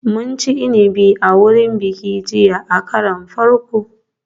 Mun ci inabi a wurin bikin jiya a karon farko